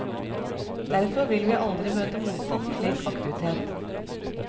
Derfor vil vi aldri møte motstand mot slik aktivitet.